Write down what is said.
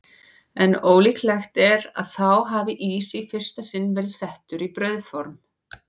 En ólíklegt er að þá hafi ís í fyrsta sinn verið settur í brauðform.